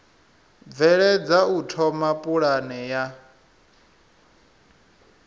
bveledza u thoma pulane ya